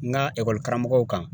N ga ekɔlikaramɔgɔw kan